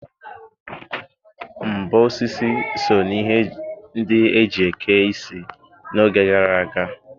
Mbo osisi so n'ihe ndị e ji eke isi n'oge gara aga.